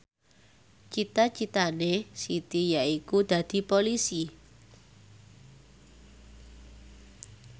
cita citane Siti yaiku dadi Polisi